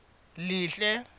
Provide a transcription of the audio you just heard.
lihle